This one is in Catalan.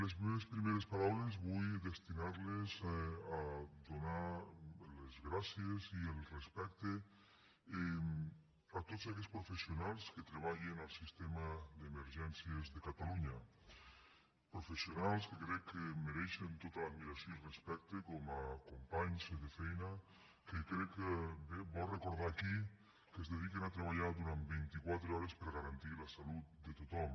les meves primeres paraules vull destinar les a donar les gràcies i el respecte a tots aquells professionals que treballen al sistema d’emergències de catalunya professionals que crec que mereixen tota l’admiració i respecte com a companys de feina que crec que és bo recordar aquí que es dediquen a treballar durant vint i quatre hores per a garantir la salut de tothom